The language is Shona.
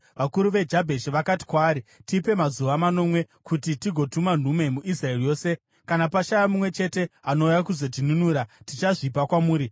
Vakuru veJabheshi vakati kwaari, “Tipe mazuva manomwe kuti tigotuma nhume muIsraeri yose; kana pashaya mumwe chete anouya kuzotinunura, tichazvipa kwamuri.”